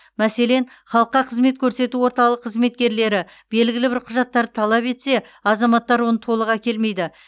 мәселен халыққа қызмет көрсету орталығы қызметкерлері белгілі бір құжаттарды талап етсе азаматтар оны толық әкелмейді